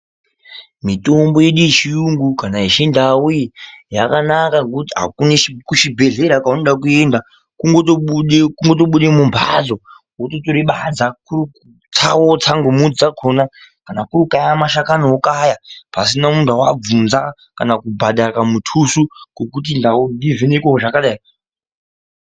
Mitombo yedu yechiyungu kana yechindau iyi yakanaka ngokuti hakune kuchibhedhlera kweunoda kuenda. Kutongobude mumbatso wototore badza wootsa ngemidzi yakhona. Kana kuri kukaya mashakani wokaya, pasina kunga wabvvnza kana kubhadhare kamuthuso kokuti ndivhenekeiwo zvakadai..